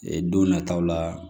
Ee don nataw la